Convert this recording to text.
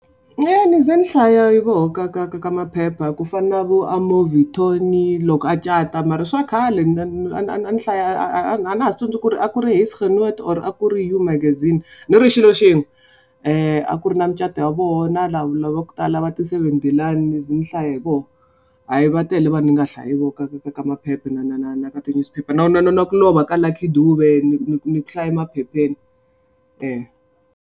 ni ze ni hlaya voho ka ka ka maphepha ku fana na vo loko a cata mara i swa khale a ni hlaya a na ha swi tsundzuki ku ri a ku ri Huisegenoot or a ku ri You maganize. Lero i xilo xin'we. A ku ri na mucato wa voho na lava ku tala va ti Seven de laan ni ze ni hlaya hi voho. Hayi va tele vanhu ni nga hlaya hi voho ka ka ka maphepha na na na na ka ti-newspaper. Na na na na ku lova ka Lucky Dube ni ku ni ku ni ku hlaye maphepheni .